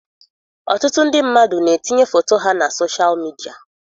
Ọtụtụ ndị mmadụ na-etinye foto ha na soshal midia.